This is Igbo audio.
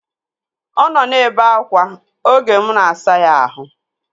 Ọ nọ na-ebe akwa oge mụ na-asa ya ahụ